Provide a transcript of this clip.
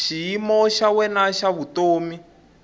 xiyimo xa wena xa vutomi